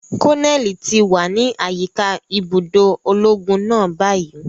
Koneli ti wa ni ayika ibudo ologun náà bayi.